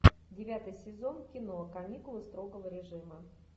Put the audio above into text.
девятый сезон кино каникулы строгого режима